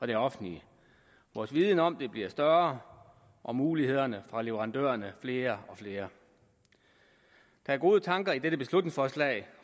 det offentlige vores viden om det bliver større og mulighederne fra leverandørerne flere og flere der er gode tanker i dette beslutningsforslag